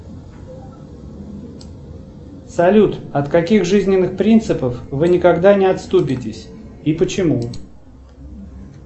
салют от каких жизненных принципов вы никогда не отступитесь и почему